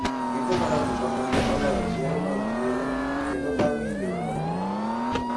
Giko, Barack Obama ne oloyo yiero mar yiero kendo bang'e yiero maduong'.